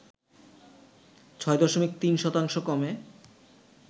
৬ দশমিক ৩ শতাংশ কমে